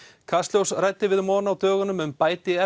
kastljós ræddi við Maughan á dögunum um